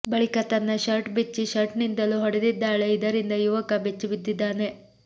ಬಳಿಕ ತನ್ನ ಶರ್ಟ್ ಬಿಚ್ಚಿ ಶರ್ಟ್ನಿಂದಲೂ ಹೊಡೆದಿದ್ದಾಳೆ ಇದರಿಂದ ಯುವಕ ಬೆಚ್ಚಿಬಿದ್ದಿದ್ದಾನೆ